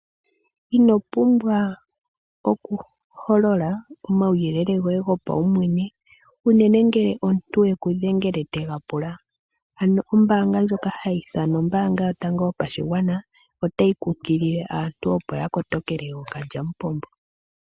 Inopumbwa okuholola omauyele goye go paumwene unene ngele omuntu te ku dhengele te ga pula ano ombaanga ndyoka ha yi ithanwa ombaanga yotango yopashigwana otayi kunkilile aantu opo yakotokele ookalyamupombo.